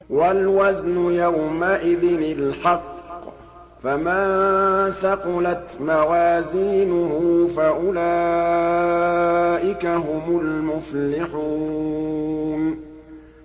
وَالْوَزْنُ يَوْمَئِذٍ الْحَقُّ ۚ فَمَن ثَقُلَتْ مَوَازِينُهُ فَأُولَٰئِكَ هُمُ الْمُفْلِحُونَ